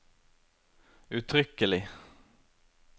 uttrykkelig